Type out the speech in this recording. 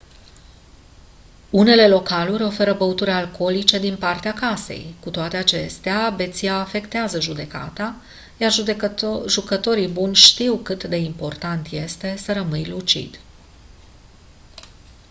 unele localuri oferă băuturi alcoolice din partea casei cu toate acestea beția afectează judecata iar jucătorii buni știu cât de important este să rămâi lucid